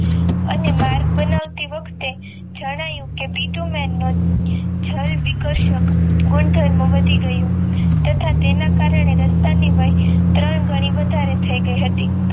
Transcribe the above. અને માર્ગ બનાવતી વખતે જેને બિટુને જળ વિકસતિ ગુણધર્મો વધી ગયું તથા તાના કારણે રાસ્ટન્ટ ત્રણ ગણી વધારે થઈ ગે હતી